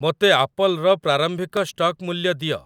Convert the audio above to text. ମୋତେ ଆପଲ୍‌ର ପ୍ରାରମ୍ଭିକ ଷ୍ଟକ୍ ମୂଲ୍ୟ ଦିଅ